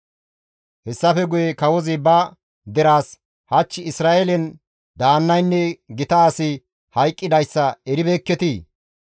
Hessafe guye kawozi ba deraas, «Hach Isra7eelen daannaynne gita asi hayqqidayssa eribeekketii?